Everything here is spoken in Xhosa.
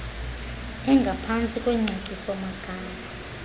engaphantsi kwengcacio magama